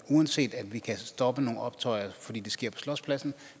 uanset at vi kan stoppe nogle optøjer fordi det sker på slotspladsen